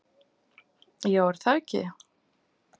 Já, er það ekki?